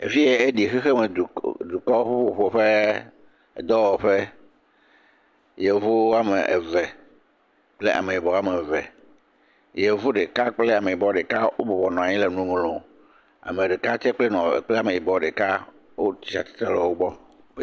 Efi ye eɖi xexe me duk…dukɔ vo ƒe vovovo ƒe ƒuƒoƒe ee…dɔwɔƒe, yevu woame eve kple ameyibɔ woame eve, yevu ɖeka kple ameyibɔ ɖeka wobɔbɔ nɔ anyi le nu ŋlɔm, ame ɖeka kple nɔ…ameyibɔ ɖeka le wo gbɔ.